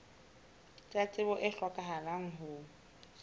tsa tsebo tse hlokahalang ho